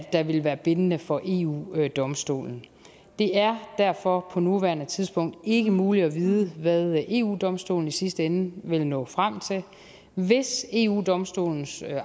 der vil være bindende for eu domstolen det er derfor på nuværende tidspunkt ikke muligt at vide hvad eu domstolen i sidste ende vil nå frem til hvis eu domstolens